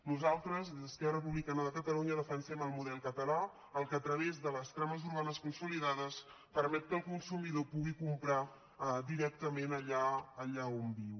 nosaltres des d’esquerra republicana de catalunya defensem el model català el que a través de les trames urbanes consolidades permet que el consumidor pugui comprar directament allà on viu